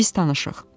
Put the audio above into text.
Biz tanışıq.